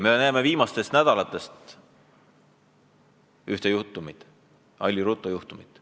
Me teame viimastest nädalatest ühte juhtumit, Alli Rutto juhtumit.